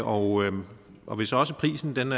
og og hvis også prisen